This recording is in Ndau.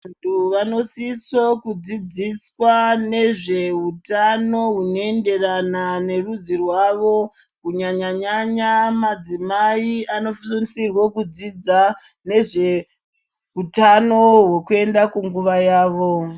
Vantu vanosiso kudzidziswa ngezve hutano hunoenderana nerudzi rwavo. Kunyanya-nyanya madzimai anosisirwa kudzidza nezveutano hwekuenda kunguva yavo.